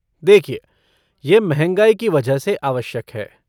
देखिए, ये महँगाई की वजह से आवश्यक है।